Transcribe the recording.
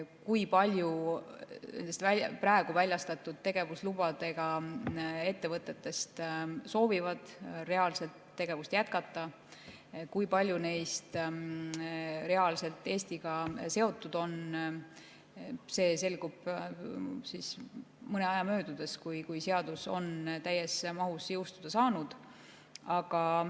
Kui paljud nendest praegu väljastatud tegevuslubadega ettevõtetest soovivad tegevust jätkata ja kui paljud neist reaalselt Eestiga seotud on, see selgub mõne aja möödudes, kui seadus on täies mahus jõustuda saanud.